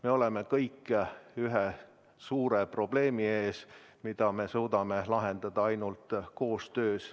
Me oleme kõik ühe suure probleemi ees, mida me suudame lahendada ainult koostöös.